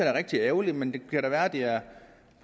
er rigtig ærgerligt men det kan da være at det er